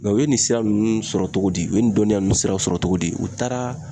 u ye nin sira nunnu sɔrɔ cogo di ,u ye nin dɔnniya nunnu siraw sɔrɔ cogodi ,u taara